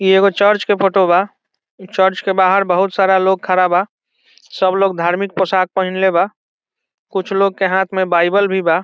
इ एगो चर्च के फोटो बा इ चर्च के बाहर बहुत सारा लोग खड़ा बा सब लोग धार्मिक पोशाक पहीनले बा कुछ लोग के हाथ में बाइबल भी बा।